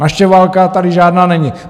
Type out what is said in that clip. Naše válka tady žádná není!